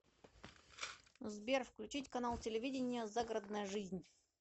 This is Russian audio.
сбер включить канал телевидения загородная жизнь